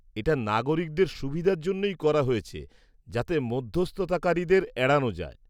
এটা নাগরিকদের সুবিধের জন্যই করা হয়েছে, যাতে মধ্যস্থতাকারীদের এড়ানো যায়।